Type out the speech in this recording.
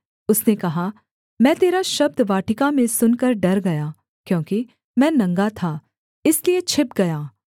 उसने कहा मैं तेरा शब्द वाटिका में सुनकर डर गया क्योंकि मैं नंगा था इसलिए छिप गया